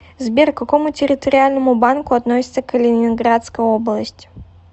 сбер к какому территориальному банку относится калининградская область